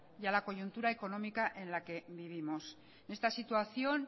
y a la coyuntura económica en que vivimos en esta situación